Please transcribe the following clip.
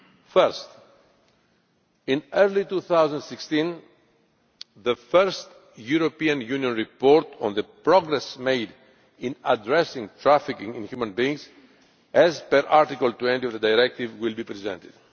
First, in early 2016, the first European Union report on the progress made in addressing trafficking in human beings, as per Article 20 of the Directive, will be presented.